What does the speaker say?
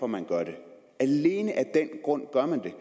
man gør det alene af den grund gør man det